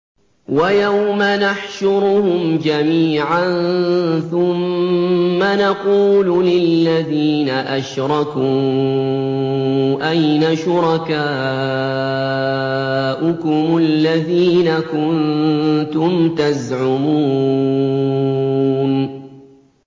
وَيَوْمَ نَحْشُرُهُمْ جَمِيعًا ثُمَّ نَقُولُ لِلَّذِينَ أَشْرَكُوا أَيْنَ شُرَكَاؤُكُمُ الَّذِينَ كُنتُمْ تَزْعُمُونَ